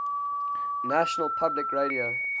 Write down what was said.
national public radio